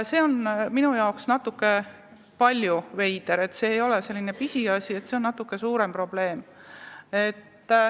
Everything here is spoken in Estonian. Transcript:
See on minu jaoks natuke palju veider – see ei ole pisiasi, see on natuke suurem probleem.